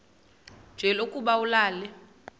nje lokuba ulale